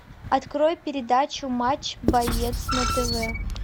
открой передачу матч боец на тв